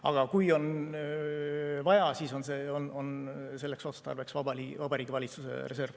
Aga kui on vaja, siis on selleks otstarbeks Vabariigi Valitsuse reserv.